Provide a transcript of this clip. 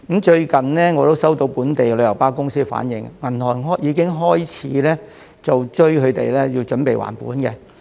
最近我也接獲本地旅遊巴公司反映，銀行已經開始要求他們準備還本。